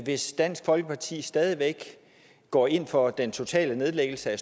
hvis dansk folkeparti stadig går ind for den totale nedlæggelse af